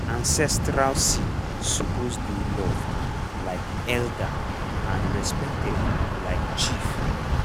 ancestral seed suppose dey loved like elder and respected like chief.